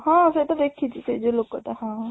ହଁ ସେଇଟା ଦେଖିଚି ସେଇ ଯୋଉ ଲୋକ ଟା ହଁ